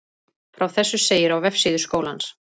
Frá þessu segir á vefsíðu skólans